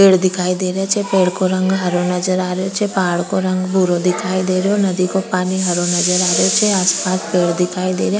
पेड़ दिखाई दे रही छे पेड़ का रंग हरो नजर आ रही छे पहाड़ का रंग भूरो दिखाई दे रहो नदी का पानी हरो नजर आ रही छे आस पास पेड़ दिखाई दे रा।